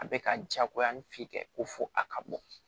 A bɛ ka jagoya ni fit ko fo a ka bɔ